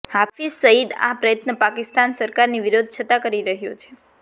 હાફિઝ સઇદ આ પ્રયત્ન પાકિસ્તાન સરકારની વિરોધ છતાં કરી રહ્યો છે